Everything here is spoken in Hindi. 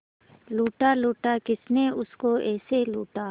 लूटा लूटा किसने उसको ऐसे लूटा